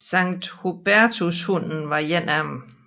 Sankt Hubertushunden var en af dem